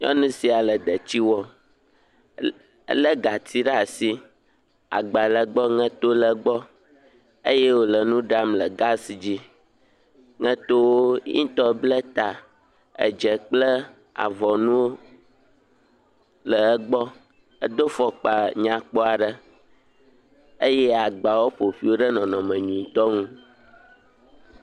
Nyɔnu sia le detsi wɔm. Elé gati ɖe asi . Agba le egbɔ, ŋeto le gbɔ eye wòle nu ɖam le gasi dzi. Ye ŋutɔ ble ta, edze kple avɔnuwo le egbɔ. Edo fɔkpa nyakpɔ aɖe eye agba woƒo ƒoe ɖe nɔnɔme nyuitɔ nu.